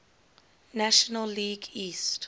national league east